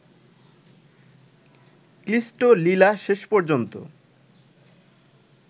ক্লিষ্ট লীলা শেষ পর্যন্ত